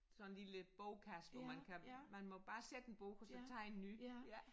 Sådan lille bogkasse hvor man kan man må bare sætte en bog og så tage en ny ja